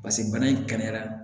paseke bana in kɛnɛyara